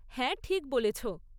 হ্যাঁ, ঠিক বলেছ।